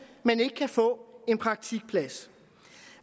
men ikke kan få en praktikplads